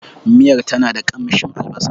Miyar tana da kamshin albasa.